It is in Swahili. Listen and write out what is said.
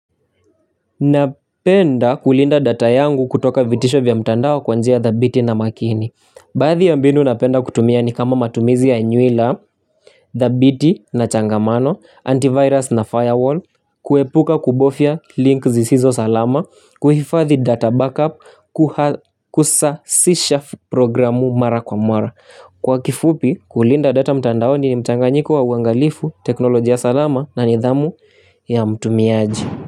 Napenda kulinda data yangu kutoka vitisho vya mtandao kwa njia the biti na makini Baadhi ya mbinu napenda kutumia ni kama matumizi ya nywila thabiti na changamano, antivirus na firewall, kuepuka kubofya link zisizo salama kuhifathi data backup kusasisha programu mara kwa mara Kwa kifupi kulinda data mtandao ni mtanganyiko wa uangalifu, teknolojia salama na nidhamu ya mtumiaji.